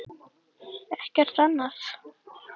Ekkert annað?